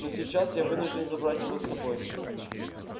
но сейчас я вынужден забрать его с собой